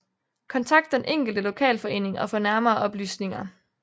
Kontakt den enkelte lokalforening og få nærmere oplysninger